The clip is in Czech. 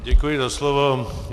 Děkuji za slovo.